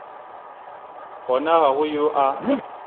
gona ga go yo a